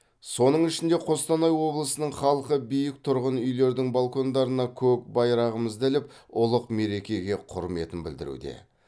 соның ішінде қостанай облысының халқы биік тұрғын үйлердің балкондарына көк байрағымызды іліп ұлық мерекеге құрметін білдіруде